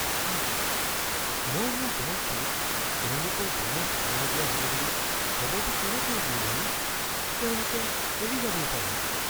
ইচ.. মই মোৰ দলটোক তেওঁলোকৰ বোনাছ কমাই দিয়া হ’ব বুলি খবৰটো কেনেকৈ দিওঁ বাৰু? তেওঁলোকে এৰি যাবও পাৰে।